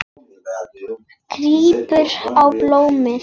Grípur um blómin.